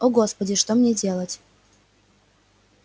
о господи что мне делать